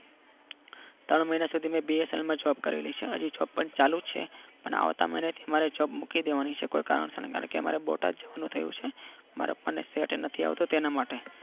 ત્રણ મહિના સુધી મેં બીએસએલમાં જોબ કરેલી છે. હો જોબ પણ ચાલુ જ છે અને આવતા મહિનાથી મારે જોબ મૂકી દેવાની છે કોઈ કારણ સર કેમકે મારે બોટાદ જવાનું થયું છે મારા પપ્પાને સેટ નથી આવતું તેના માટે